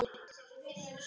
Hvað kostar að bæta úr?